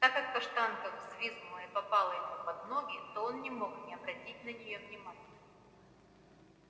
так как каштанка взвизгнула и попала ему под ноги то он не мог не обратить на нее внимания